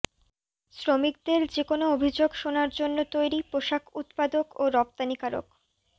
শ্রমিকদের যেকোনো অভিযোগ শোনার জন্য তৈরি পোশাক উৎপাদক ও রপ্তানিকারক